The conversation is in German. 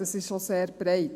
es ist sehr breit: